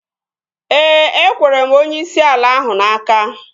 Ee, ekwere m onyeisi ala ahụ n'aka